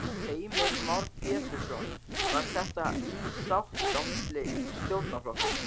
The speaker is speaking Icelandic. Heimir Már Pétursson: Var þetta í sátt á milli stjórnarflokkanna?